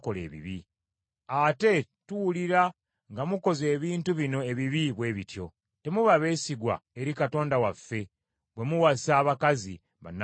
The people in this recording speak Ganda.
Ate tuwulira nga mukoze ebintu bino ebibi bwe bityo. Temuba beesigwa eri Katonda waffe bwe muwasa abakazi bannamawanga.”